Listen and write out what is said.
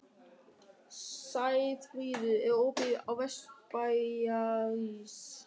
Sæfríður, er opið í Vesturbæjarís?